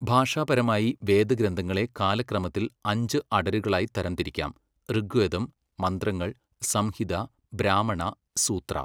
ഭാഷാപരമായി, വേദഗ്രന്ഥങ്ങളെ കാലക്രമത്തില് അഞ്ച് അടരുകളായി തരംതിരിക്കാം, ഋഗ്വേദം, മന്ത്രങ്ങൾ, സംഹിത, ബ്രാഹ്മണ, സൂത്ര